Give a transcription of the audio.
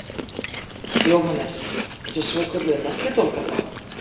Jóhannes: Þessa svokölluðu melludólga þá?